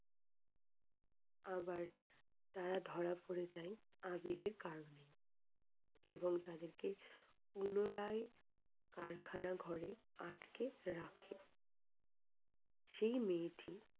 আবার তারা ধরা পরে যাই আবিরের কারণে। পুনরায় কারখানা ঘরে আটকে রাখে সেই মেয়েটি